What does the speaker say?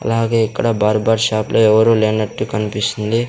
అలాగే ఇక్కడ barber shop లో ఎవరూ లేనట్టు కన్పిస్తుంది.